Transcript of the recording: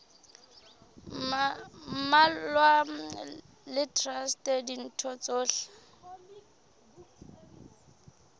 mmalwa le traste ditho tsohle